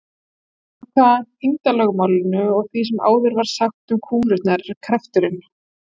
Samkvæmt þyngdarlögmálinu og því sem áður var sagt um kúlurnar er krafturinn